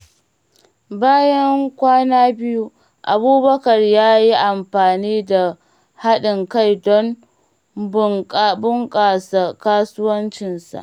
Bayan kwana biyu, Abubakar ya yi amfani da haɗin kai don bunƙasa kasuwancinsa.